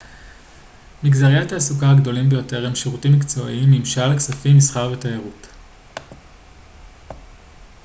מגזרי התעסוקה הגדולים ביותר הם הם שירותים מקצועיים ממשל כספים מסחר ותיירות